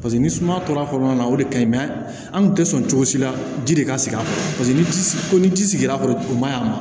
Paseke ni suma tora kɔnɔna na o de ka ɲi an kun tɛ sɔn cogo si la ji de ka sigi a kɔrɔ paseke ni ji ko ni ji sigira kɔni u ma ɲi a ma